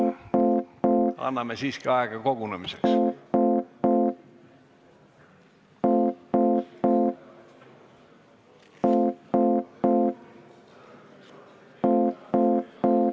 Anname siiski aega kogunemiseks.